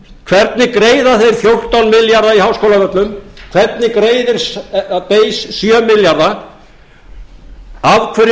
hvernig greiða þeir fjórtán milljarða í háskólavöllum hvernig greiðir base sjö milljarða af hverju keypti base allar skemmurnar ég hef fullt af